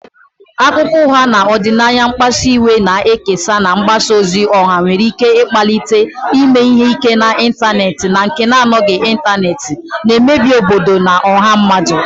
Akụkọ ụgha na ọdịnaya mkpasu iwe na-ekesa na mgbasa ozi ọha nwere ike ịkpalite ime ihe ike n'ịntanetị na nke na-anọghị n'ịntanetị, na-emebi obodo na ọha mmadụ.